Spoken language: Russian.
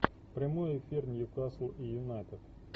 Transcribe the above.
прямой эфир ньюкасл и юнайтед